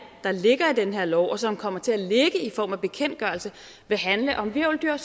der ligger i den her lov og som kommer til at ligge i form af bekendtgørelser vil handle om hvirveldyr